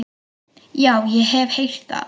Já, ég hef heyrt það.